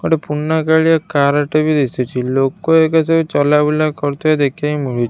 ଗୋଟେ ପୁରୁନା କାଳିଆ କାର ଟେ ବି ଦିଶୁଚି ଲୋକ ଏଇକା ସବୁ ଚଲାବୁଲା କରୁଥିବାର ଦେଖିବାକୁ ମିଳୁ --